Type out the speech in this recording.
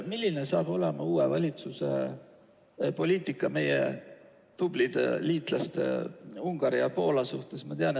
Milline saab olema uue valitsuse poliitika meie tublide liitlaste Ungari ja Poola suhtes?